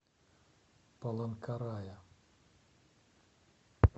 паланкарая